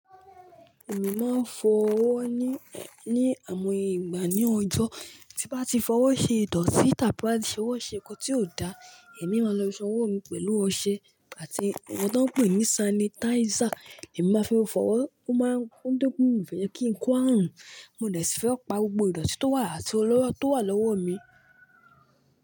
Èmi máa ń fọ ọwọ́ ni, ni àmoye ìgbà ní ọjọ́, tí bá ti fọ ọwọ́ ṣe ìdọ̀tí tàbí bá ti ṣe ọwọ́ ṣe nǹkan tí kò dá, èmi máa lọ san owó mi pẹ̀lú ọṣẹ àti ohun tí wọ́n ń pè ní sanitizer, èmi má fi wọn fọ ọwọ́, ó máa ń dúnkú, mi ò fẹ́ jẹ́ kí n kú ààrùn, mo nì sì fẹ́ pa gbogbo ìdọ̀tí tó wà àti ọlọ́rọ̀ tó wà lọ́wọ́ mi.